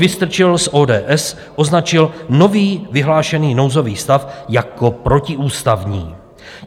Vystrčil z ODS označil nový vyhlášený nouzový stav jako protiústavní.